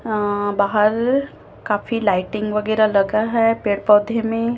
अअ बाहर काफी लाइटिंग वगैराह लगा है पेड़ पौधे में--